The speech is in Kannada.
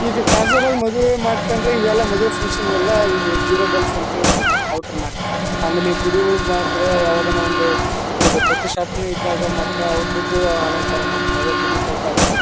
ಈಗ ಕ್ಯಾಜುವಲ್ ಆಗಿ ಮದುವೆ ಮಾಡ್ಕೊಂಡ್ರೆ ಇವೆಲ್ಲ ಮದುವೆ ಫ್ಯಾಂಕ್ಷನ್ ಗೆಲ್ಲ ಇವು ಜೀರೋ ಬಲ್ಬ್ ಅಂತ ಹೇಳಿ ಬರ್ತಾವ ಔಟರ್ ಹಾಕ್ತಾರೆ ಆಮೇಲೆ ಗುಡಿಯೊಳಗೆ ಬಂದ್ರೆ ಯಾವದಾನ ಒಂದು ಇದು ಪ್ರತಿಷ್ಠಾಪನೆ ಇದ್ದಾಗ ಮಾತ್ರ ಔಟರ್ ದು ಅಲಂಕಾರ ಮಾಡ್ತಾರೆ ಅದೇ ಗುಡಿ ಟೈಪ್ ಹಾಕ್ತಾರೆ.